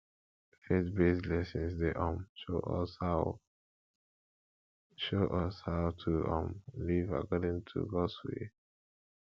faithbased lessons dey um show us how show us how to um live according to gods will